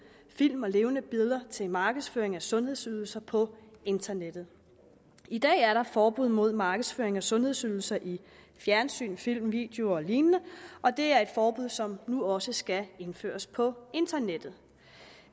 film og levende billeder til markedsføring af sundhedsydelser på internettet i dag er der forbud mod markedsføring af sundhedsydelser i fjernsyn film videoer og lignende og det er et forbud som nu også skal indføres på internettet